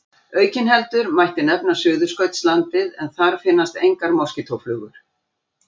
Aukinheldur mætti nefna Suðurskautslandið en þar finnast engar moskítóflugur.